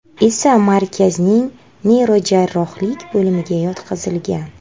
esa markazning neyrojarrohlik bo‘limiga yotqizilgan.